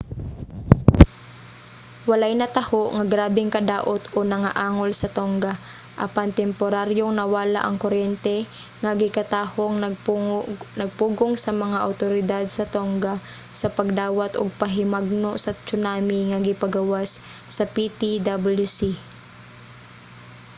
walay nataho nga grabeng kadaot o nangaangol sa tonga apan temporaryong nawala ang kuryente nga gikatahong nagpugong sa mga awtoridad sa tonga sa pagdawat og pahimangno sa tsunami nga gipagawas sa ptwc